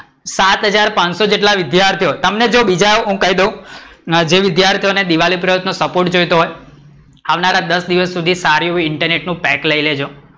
સાત હાજર પાંચસો જેટલા વિદ્યાર્થીઓ તમને જોવો બીજા જો હું કઈ દઉં જે વિદ્યાર્થીઓ ને દિવાળી પ્રયોગ નો સપોર્ટ જોઈતો હોય આવનારા દસ દિવસ સુધી સારું એવું internet નું પેક લઈ લેજો.